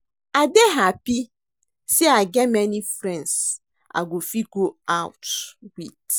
I dey happy say I get many friends I go fit go out with